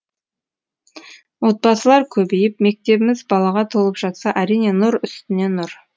отбасылар көбейіп мектебіміз балаға толып жатса әрине нұр үстіне нұр